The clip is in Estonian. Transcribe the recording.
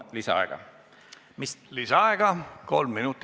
Lisaaega kolm minutit, palun!